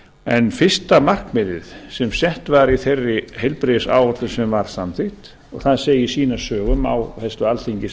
en fyrsta markmiðið sem sett var í þeirri heilbrigðisáætlun sem var samþykkt og það segir sína sögu um áherslur alþingis